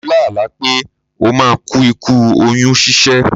Mo lá àlá pé ó máa ku ikú oyún ṣíṣẹ́.